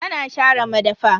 Tana share madafa.